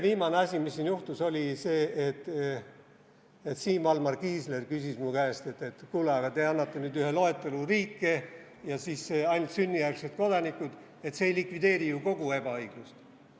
Viimane asi, mis siin eile juhtus, oli see, et Siim Valmar Kiisler küsis mu käest, et kuule, te annate nüüd ühe loetelu riike ja siis puudutab see ainult sünnijärgseid kodanikke, et see ei likvideeri ju kogu ebaõiglust.